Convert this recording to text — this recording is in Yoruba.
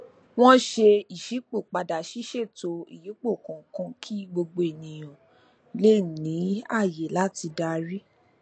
wọn ṣe ìṣípòpadà ṣíṣètò ìyípo kọọkan kí gbogbo ènìyàn lè ní ààyè láti darí